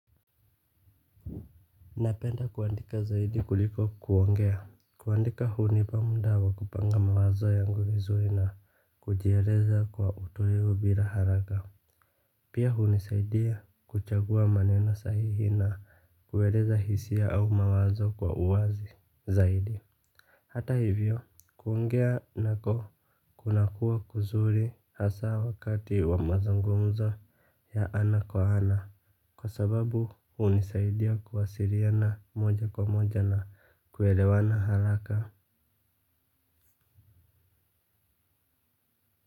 Napenda kuandika zaidi kuliko kuongea. Kuandika hunipa muda wa kupanga mawazo yangu vizuri na kujieleza kwa utulivu bila haraka. Pia hunisaidia kuchagua maneno sahihi na kueleza hisia au mawazo kwa uwazi zaidi. Hata hivyo kuongea nako kuna kuwa kuzuri hasa wakati wa mazungumzo ya ana kwa ana. Kwa sababu hunisaidia kuwasiliana moja kwa moja na kuelewana haraka.